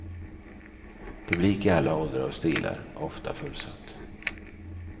Publik i alla åldrar och stilar, ofta fullsatt.